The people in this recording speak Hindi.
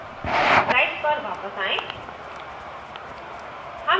अपनी slides पर वापस आएँ